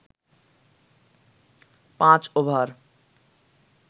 পাঁচ ওভার